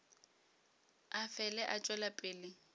a fele a tšwela pele